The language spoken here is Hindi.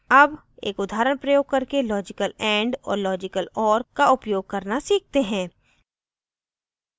अब एक उदाहरण प्रयोग करके logical and और logical or का उपयोग करना सीखते हैं